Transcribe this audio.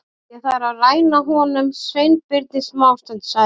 Ég þarf að ræna honum Sveinbirni smástund- sagði